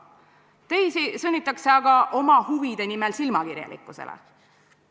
Teisi sunnitakse aga oma huvide nimel silmakirjalikkusele.